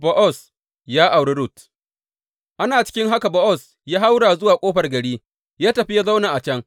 Bowaz ya auri Rut Ana cikin haka Bowaz ya haura zuwa ƙofar gari ya tafi ya zauna a can.